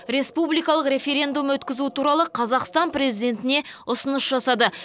республикалық референдум өткізу туралы қазақстан президентіне ұсыныс жасады